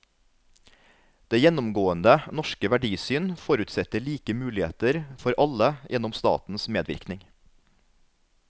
Det gjennomgående norske verdisyn forutsetter like muligheter for alle gjennom statens medvirkning.